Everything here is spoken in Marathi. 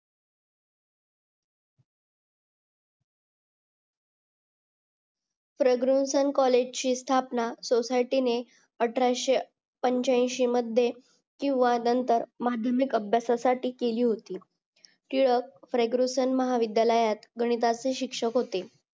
प्रग्रेव्हशन कॉलजे ची स्थापना सोसायटीने अठराशे पांचयाशी मध्ये किंवा नंतर आधुनिक अभ्यासाठी केली होती टिळक प्रग्रेव्हशन महाविद्यालयात गणिताचे शिक्षक होते